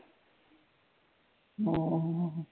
ਹਾਂ